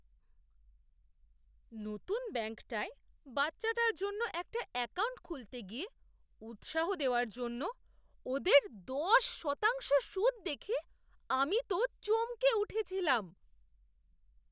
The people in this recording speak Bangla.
নতুন ব্যাঙ্কটায় বাচ্চাটার জন্য একটা অ্যাকাউন্ট খুলতে গিয়ে উৎসাহ দেওয়ার জন্য ওদের দশ শতাংশ সুদ দেখে আমি তো চমকে উঠেছিলাম!